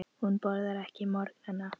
Hún borðar ekki á morgnana.